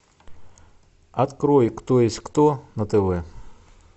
открой кто есть кто на тв